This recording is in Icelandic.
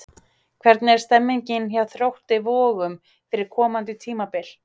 Hvernig er stemningin hjá Þrótti Vogum fyrir komandi tímabil?